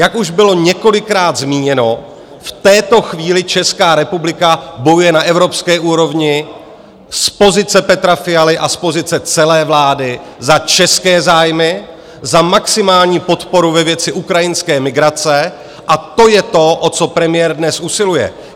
Jak už bylo několikrát zmíněno, v této chvíli Česká republika bojuje na evropské úrovni z pozice Petra Fialy a z pozice celé vlády za české zájmy za maximální podporu ve věci ukrajinské migrace, a to je to, o co premiér dnes usiluje.